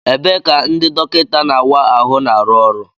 Ebee ka ndị dọkịta na-awa ahụ na-arụ ọrụ?